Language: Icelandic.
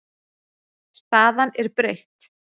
Staðan er breytt.